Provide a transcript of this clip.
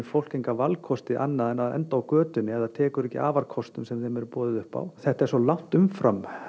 fólk enga valkosti annað en að enda á götunni ef það tekur ekki afarkostum sem þeim er boðið upp á þetta er svo langt umfram